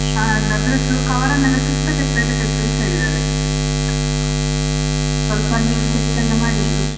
ಹಾ ಅದ್ರದ್ದು ಕವರನ್ನು ಎಲ್ಲ ಸಿಪ್ಪೆ ತೆಗೆದ ಹಾಗೆ ತೆಗೆದು ಬಿಸಾಡಿದ್ದಾರೆ ಸ್ವಲ್ಪ ಅಲ್ಲಿ ಇಲ್ಲಿ ಪೆಟ್ಟು ಎಲ್ಲಾ ಮಾಡಿದ್ರು.